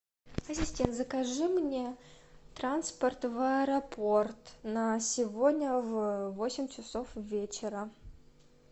ассистент закажи мне транспорт в аэропорт на сегодня в восемь часов вечера